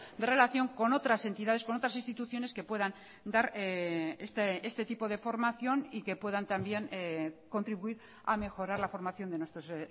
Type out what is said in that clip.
de relación con otras entidades con otras instituciones que puedan dar este tipo de formación y que puedan también contribuir a mejorar la formación de nuestros